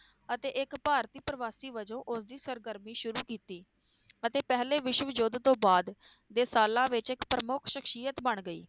ਅਤੇ ਇਕ ਭਾਰਤੀ ਪਰਿਵਾਸੀ ਵਜੋਂ ਉਸ ਦੀ ਸਰਗਰਮੀ ਸ਼ੁਰੂ ਕੀਤੀ ਅਤੇ ਪਹਿਲੇ ਵਿਸ਼ਵ ਯੁੱਧ ਤੋਂ ਬਾਅਦ ਦੇਸਾਲਾ ਵਿਚ ਇੱਕ ਪ੍ਰਮੁੱਖ ਸ਼ਖਸ਼ੀਅਤ ਬਣ ਗਈ